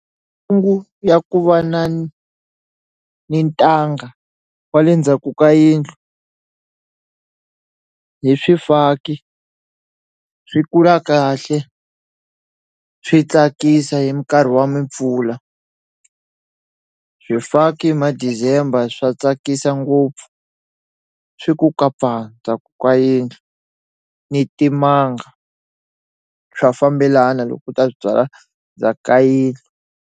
ya ku va na ni ni ntanga kwale ndzhaku ka yindlu hi swifaki swi kula kahle swi tsakisa hi minkarhi wa mimpfula swifaki madizemba swa tsakisa ngopfu swi ku kapa ndzhaku ka yindlu ni timanga swa fambelana loko u ta swi byala ndzhaka yindlu.